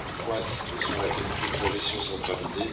Il faut insister sur la qualité de sa gestion centralisée.